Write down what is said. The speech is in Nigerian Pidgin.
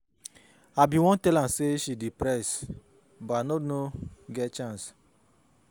I bin wan tell am say she dey depressed but I no no get chance.